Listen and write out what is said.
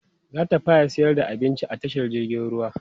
zata fara sayar da abinci a tashar jirgin ruwa